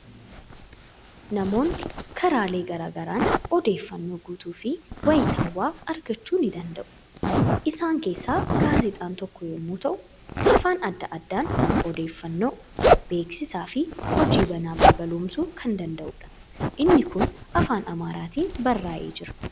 Namoonni karaalee garaa garaan odeeffannoo guutuu fi wayitaawwaa argachuu ni danda'u. Isaan keessaa gaazexaan tokko yommuu ta'u, afaan adda addaan odeeffannoo, beeksisaa fi hojii banaa balballoomsuu kan danda'udha. Inni kun afaan Amaaraatiin barraa'ee jira.